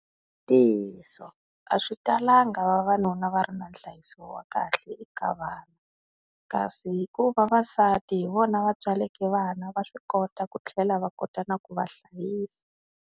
Ntiyiso a swi talanga vavanuna va ri na nhlayiso wa kahle eka vanhu kasi hikuva vavasati hi vona va tswaleke vana va swi kota ku tlhela va kota na ku va hlayisa.